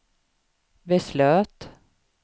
beslöt